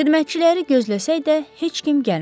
Xidmətçiləri gözləsək də, heç kim gəlmədi.